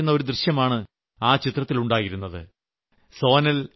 മനസ്സിനെ സ്പർശിക്കുന്ന ഈ ദൃശ്യമാണ് ആ ചിത്രത്തിലുണ്ടായിരുന്നത്